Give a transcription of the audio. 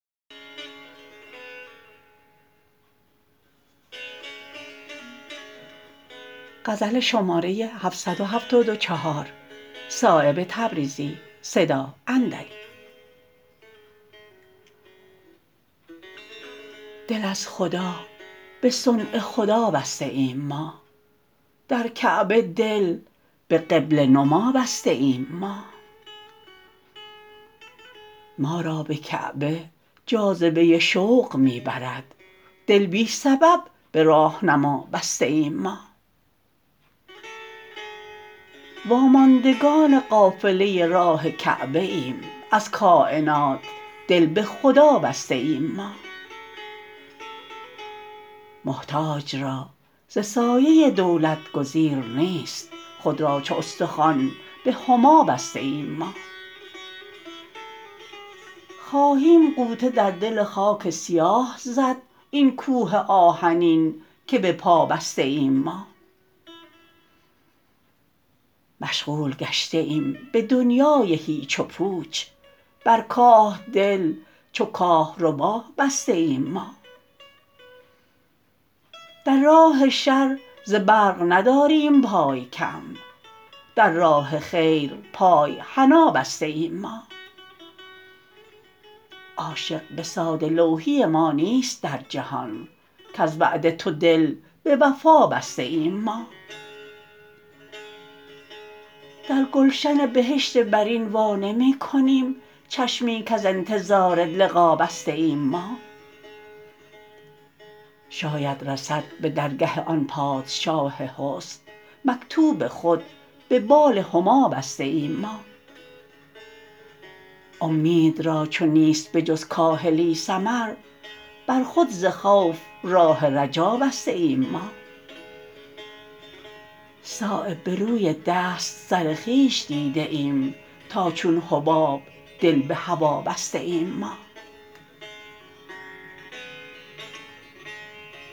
دل از خدا به صنع خدا بسته ایم ما در کعبه دل به قبله نما بسته ایم ما ما را به کعبه جاذبه شوق می برد دل بی سبب به راهنما بسته ایم ما واماندگان قافله راه کعبه ایم از کاینات دل به خدا بسته ایم ما محتاج را ز سایه دولت گزیر نیست خود را چو استخوان به هما بسته ایم ما خواهیم غوطه در دل خاک سیاه زد این کوه آهنین که به پا بسته ایم ما مشغول گشته ایم به دنیای هیچ و پوچ بر کاه دل چو کاهربا بسته ایم ما در راه شر ز برق نداریم پای کم در راه خیر پای حنا بسته ایم ما عاشق به ساده لوحی ما نیست در جهان کز وعده تو دل به وفا بسته ایم ما در گلشن بهشت برین وا نمی کنیم چشمی کز انتظار لقا بسته ایم ما شاید رسد به درگه آن پادشاه حسن مکتوب خود به بال هما بسته ایم ما امید را چو نیست به جز کاهلی ثمر بر خود ز خوف راه رجا بسته ایم ما صایب به روی دست سر خویش دیده ایم تا چون حباب دل به هوا بسته ایم ما